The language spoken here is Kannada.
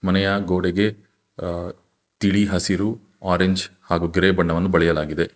ಮನೆಯ ಗೋಡೆಗೆ ತಿಳಿ ಹಸಿರು ಆರೆಂಜ್ ಹಾಗು ಗ್ರೇ ಬಣ್ಣವನ್ನು ಬಳಿಯಲಾಗಿದೆ.